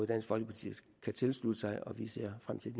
dansk folkeparti kan tilslutte sig og vi ser frem til